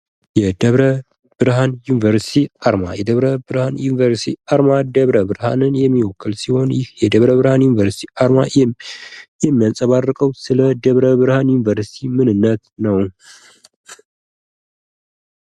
የደብረ ብርሃን ዩኒቨርስቲ አርማ የደብረ ብርሃን ዩኒቨርስቲ አርማ ደብረብርሃን የሚወክል ሲሆን የደብረ ብርሃን ዩኒቨርስቲ አርማ የሚያንጸባርቀው ስለ ደብረ ብርሃን ዩኒቨርስቲ ምንነት ነው።